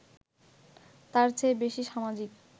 তার চেয়ে বেশি সামাজিক